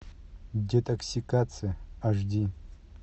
детоксикация аш ди